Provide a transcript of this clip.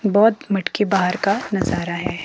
बहुत मटकी बाहर का नजारा है।